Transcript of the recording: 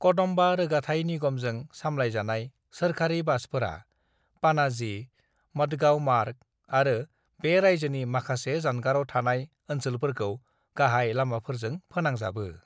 "कदम्बा रोगाथाइ निगमजों सामलायजानाय सोरखारि बासफोरा, पाणाजी-मडगांव मार्ग आरो बे रायजोनि माखासे जानगाराव थानाय ओनसोलफोरखौ गाहाय लामाफोरजों फोनांजाबो।"